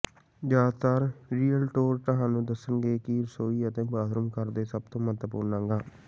ਜ਼ਿਆਦਾਤਰ ਰੀਅਲਟੋਰ ਤੁਹਾਨੂੰ ਦੱਸਣਗੇ ਕਿ ਰਸੋਈ ਅਤੇ ਬਾਥਰੂਮ ਘਰ ਦੇ ਸਭ ਤੋਂ ਮਹੱਤਵਪੂਰਣ ਅੰਗ ਹਨ